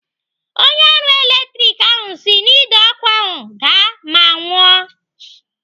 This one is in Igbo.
Onye ọrụ latrik ahụ si n'Ide ọkụ ahụ daa ma nwụọ.